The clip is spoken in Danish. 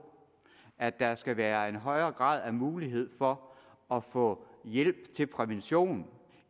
at der skal være en højere grad af mulighed for at få hjælp til prævention